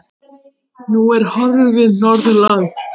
Nú er horfið Norðurland.